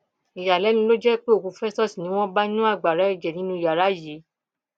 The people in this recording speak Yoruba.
ìyàlẹnu ló jẹ pé òkú festus ni wọn bá nínú agbára ẹjẹ nínú yàrá yìí